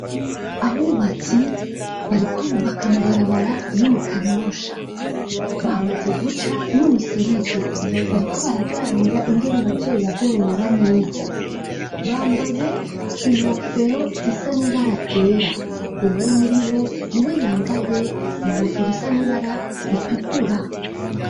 Abubatsi bariko bubaka amabarabara yo mu Kanyosha, bamaze guca n'umuserege, bariko baraganira ingene bazoyagorora neza. Bambaye inkofero zisa nibara ryera. Umwe muri bo, ni we yambaye inkofero isa n'ibaara ritukura.